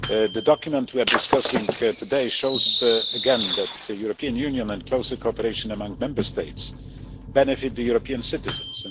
The document we are discussing today again shows that the European Union and closer cooperation among Member States benefit European citizens.